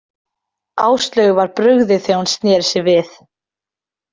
Áslaugu var brugðið þegar hún sneri sér við.